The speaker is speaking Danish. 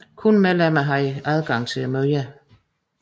Kun medlemmer havde adgang til møderne